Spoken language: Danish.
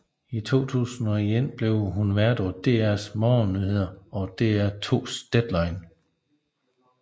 I 2001 blev hun vært på DRs morgennyheder og DR2s Deadline